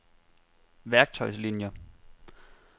værktøjslinier